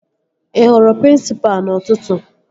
Ị hụrụ prịnsịpa n'ụtụtụ?